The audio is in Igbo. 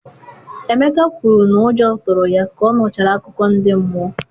emeka kwuru na ụjọ tụrụ ya ka ọ nụchara akụkọ ndị mmụọ.